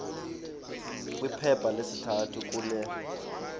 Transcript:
kwiphepha lesithathu kule